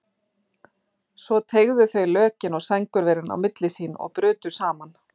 Svo teygðu þau lökin og sængurverin á milli sín og brutu saman.